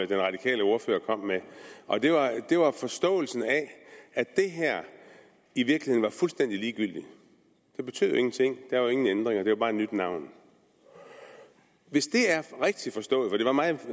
den radikale ordfører kom med og det var forståelsen af at det her i virkeligheden er fuldstændig ligegyldigt det betyder ingenting der er ingen ændringer det er bare et nyt navn hvis det er rigtigt forstået for det var meget